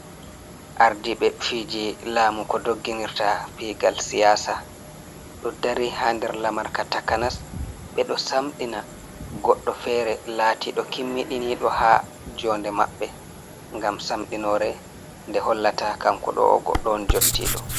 Ardiiɓe fiiji laamu ko dogginirta piigal siyaasa, ɗo dari ha nder lamarka takanas, ɓe ɗo samɗina goɗɗo fere laatiiɗo kimmiɗiniiɗo ha joonde maɓɓe, ngam samɗinore nde hollata kanko ɗo o goɗɗo on jottiiɗo.